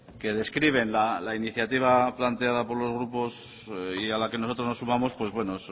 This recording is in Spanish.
que describen la iniciativa planteada por los grupos y a la que nosotros nos sumamos pues bueno